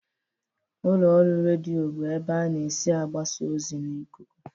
Ụlọ ọrụ redio bụ ebe ana esi agbasa ozi n'ikuku.